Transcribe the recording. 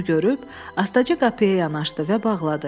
Bunu görüb astaca qapıya yanaşdı və bağladı.